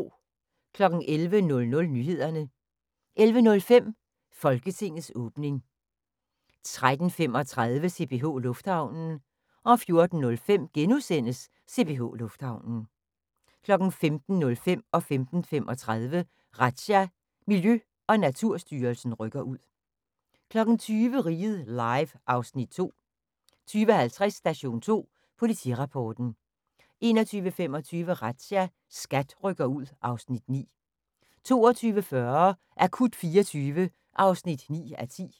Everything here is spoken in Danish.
11:00: Nyhederne 11:05: Folketingets åbning 13:35: CPH Lufthavnen 14:05: CPH Lufthavnen * 15:05: Razzia – Miljø- og Naturstyrelsen rykker ud 15:35: Razzia – Miljø- og Naturstyrelsen rykker ud 20:00: Riget Live (Afs. 2) 20:50: Station 2 Politirapporten 21:25: Razzia – SKAT rykker ud (Afs. 9) 22:40: Akut 24 (9:10)